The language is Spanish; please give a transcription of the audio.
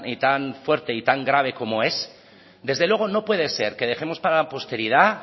tan fuerte y tan grave como es desde luego no puede ser que dejemos para la posteridad